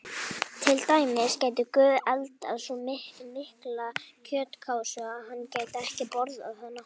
Til dæmis: Gæti Guð eldað svo mikla kjötkássu að hann gæti ekki borðað hana?